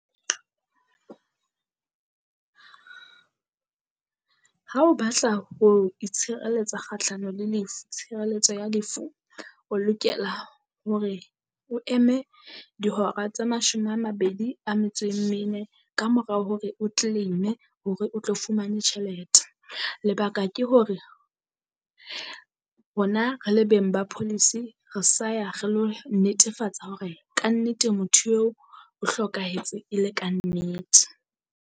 Ha o batla ho itshireletsa kgahlano le tshireletso ya lefu, o lokela hore o eme dihora tse mashome a mabedi a metso e mene kamorao hore o claim-e hore o tlo fumane tjhelete. Lebaka ke hore rona re le beng ba policy re sa ya re lo netefatsa hore kannete motho eo o hlokahetse e le kannete.